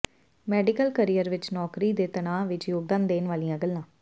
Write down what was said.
medical career ਵਿਚ ਨੌਕਰੀ ਦੇ ਤਣਾਅ ਵਿਚ ਯੋਗਦਾਨ ਦੇਣ ਵਾਲੀਆਂ ਗੱਲਾਂ